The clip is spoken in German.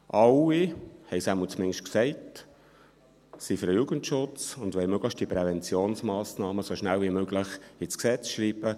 Alle – sie haben es zumindest gesagt – sind für den Jugendschutz und wollen die Präventionsmassnahmen so schnell wie möglich ins Gesetz schreiben.